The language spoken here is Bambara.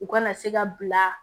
U kana se ka bila